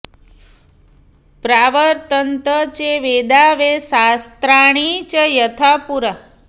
प्रावर्तन्त च वेदा वै शास्त्राणि च यथा पुरा